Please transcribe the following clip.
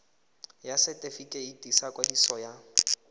ya setefikeiti sa ikwadiso ya